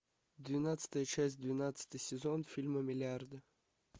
двенадцатая часть двенадцатый сезон фильма миллиарды